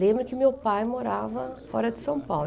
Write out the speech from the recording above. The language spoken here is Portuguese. Lembro que meu pai morava fora de São Paulo.